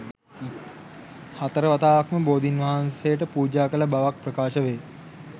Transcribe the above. හතරවතාවක්ම බෝධීන් වහන්සේට පූජා කළ බවක් ප්‍රකාශ වේ